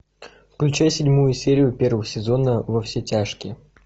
включай седьмую серию первого сезона во все тяжкие